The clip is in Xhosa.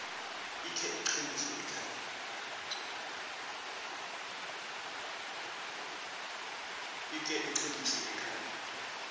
ikhe iqheliswe ekhaya